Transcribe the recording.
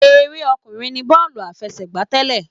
Eré ọkùnrin ní bọ́ọ̀lù àfẹsẹ̀gbá tẹ́lẹ̀.